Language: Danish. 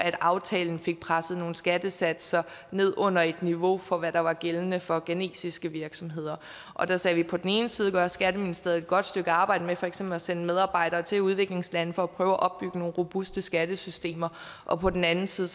at aftalen fik presset nogle skattesatser ned undet niveauet for hvad der var gældende for ghanesiske virksomheder og der sagde vi på den ene side gør skatteministeriet et godt stykke arbejde med for eksempel at sende medarbejdere til udviklingslande for at prøve at opbygge nogle robuste skattesystemer og på den anden side